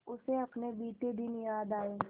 उसे अपने बीते दिन याद आए